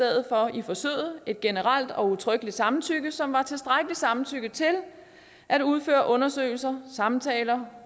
i forsøget et generelt og udtrykkeligt samtykke som var tilstrækkeligt som samtykke til at udføre undersøgelser samtaler